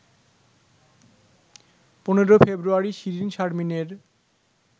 ১৫ ফেব্রুয়ারি শিরীন শারমিনের